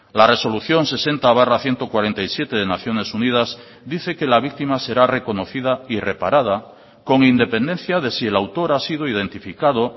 la resolución sesenta barra ciento cuarenta y siete de naciones unidas dice que la víctima será reconocida y reparada con independencia de si el autor ha sido identificado